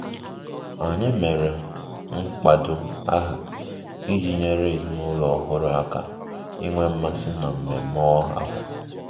Anyị mere mkpado aha iji nyere ezinụlọ ọhụrụ aka inwe mmasị na mmemme ahụ